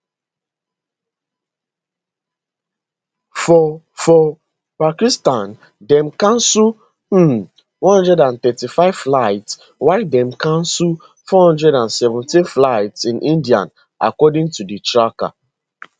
for for pakistan dem cancel um 135 flights while dem cancel 417 flights in india according to di tracker